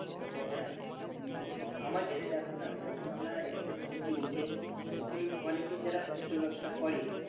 হ্যাঁ উহ আমাদেরই দেখ না যখন আমরা এখানে সবজি ওঠে তখন অনেকেই যারা খুচরা ব্যবসা করে